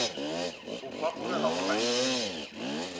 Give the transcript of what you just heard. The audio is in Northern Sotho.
o fapogela go la nngele